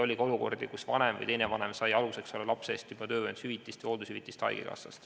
Oli ka olukordi, kus vanem sai selle lapse eest haigekassast juba töövõimetus- või hooldushüvitist.